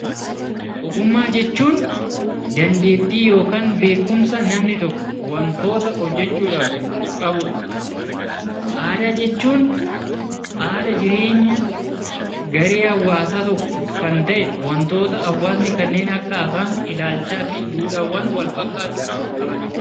Ogummaa jechuun dandeettii yookaan beekumsa namni tokko wantoota hojjachuuf qabudha. Aadaa jechuun haala jireenya garee hawaasaa tokko kan ta'e wantoota hawaasni kanneen akka afaan, duudhaawwan wal fakkaataa qabanidha